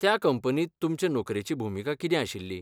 त्या कंपनींत तुमचे नोकरेची भुमिका कितें आशिल्ली?